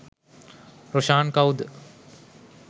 රොෂාන් කවුද